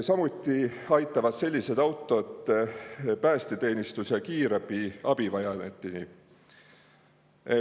Samuti aitavad sellised autod päästeteenistuse ja kiirabi abivajajateni.